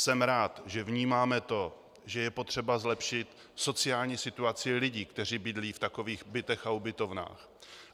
Jsem rád, že vnímáme to, že je potřeba zlepšit sociální situaci lidí, kteří bydlí v takových bytech a ubytovnách.